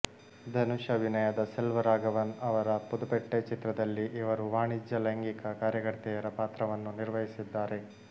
ಧನುಷ್ ಅಭಿನಯದ ಸೆಲ್ವರಾಘವನ್ ಅವರ ಪುದುಪೆಟ್ಟೈ ಚಿತ್ರದಲ್ಲಿ ಇವರು ವಾಣಿಜ್ಯ ಲೈಂಗಿಕ ಕಾರ್ಯಕರ್ತೆಯರ ಪಾತ್ರವನ್ನು ನಿರ್ವಹಿಸಿದ್ದಾರೆ